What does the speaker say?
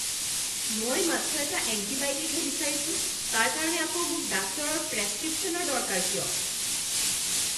মই মাত্ৰ এটা এণ্টিবায়'টিকহে বিচাৰিছোঁ! তাৰ কাৰণে আকৌ মোক ডাক্তৰৰ প্ৰেছক্ৰিপশ্যনৰ দৰকাৰ কিয়?